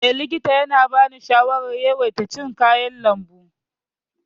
Eh, likita ya bani shawarar yawaita cin kayan lambu.